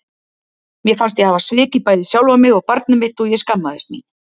Mér fannst ég hafa svikið bæði sjálfa mig og barnið mitt og ég skammaðist mín.